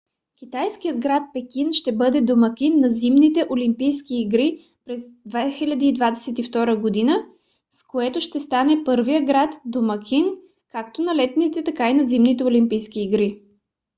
китайският град пекин ще бъде домакин на зимните олимпийски игри през 2022 г. с което ще стане първият град домакин както на летните така и на зимните олимпийски игри